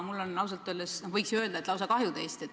Mul on teist ausalt öeldes lausa kahju.